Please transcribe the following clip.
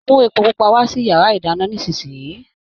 Mú epo pupa wá sí yàrá ìdáná nísìsiyìí